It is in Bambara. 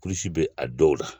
bɛ a dɔw la